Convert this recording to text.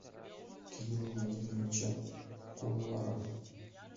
кирилла владимировича куулара